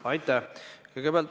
Aitäh!